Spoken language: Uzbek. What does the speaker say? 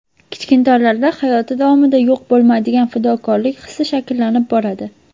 Kichkintoylarda hayoti davomida yo‘q bo‘lmaydigan fidokorlik hissi shakllanib boradi.